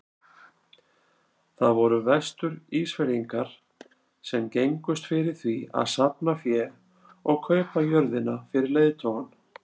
Það voru Vestur-Ísfirðingar sem gengust fyrir því að safna fé og kaupa jörðina fyrir leiðtogann.